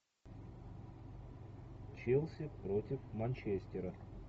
челси против манчестера